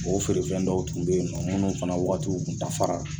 O feere fɛn dɔw tun bɛ ye nɔ munnu fana wagatiw kun dafara.